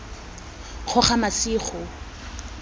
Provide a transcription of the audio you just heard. kgogamasigo